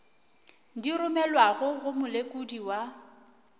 di romelwago go molekodi wa